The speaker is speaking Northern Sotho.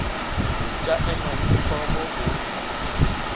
tša ema le hlogo go